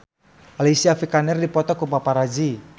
Alicia Vikander dipoto ku paparazi